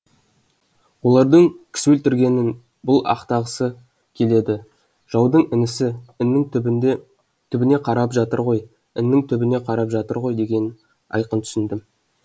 олардың кісі өлтіргенін бұл ақтағысы келеді жаудың інісі іннің түбіне қарап жатыр ғой іннің түбіне қарап жатыр ғой дегенін айқын түсіндім